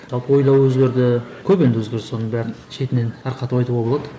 жалпы ойлау өзгерді көп енді өзгеріс соның бәрін шетінен тарқатып айтуға болады